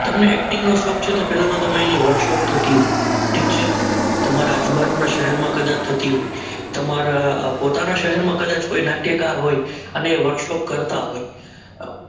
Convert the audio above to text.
તમને એક્ટિંગ નું શોખ છે તો પહેલા તો તમે એની વર્કશોપ થતી હોય છે ઠીક છે તમારી આજુબાજુના શહેરમાં કદાચ થતી હોય તમારા પોતાના શહેરમાં તો તો કોઈ નાટ્યકાર હોય અને વર્કશોપ કરતા હોય